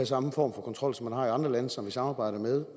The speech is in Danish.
samme form for kontrol som man har i andre lande som vi samarbejder med